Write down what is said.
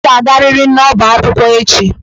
Ị ga-agariri n'ọbá akwụkwọ echi!